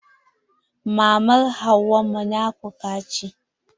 Mama hauwa munafuka ce.